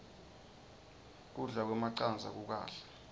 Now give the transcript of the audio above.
kudla kwemacandza kukahle